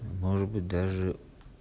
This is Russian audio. может быть даже